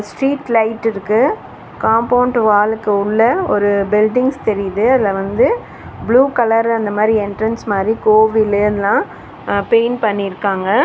Street light இருக்கு compound வாலுக்கு உள்ள ஒரு பில்டிங்ஸ் தெரியுது அதுல வந்து ப்ளூ கலர்ல அந்த மாரி என்ட்ரன்ஸ் மாரி கோவில் எல்லா பெயிண்ட் பண்ணிருக்காங்க.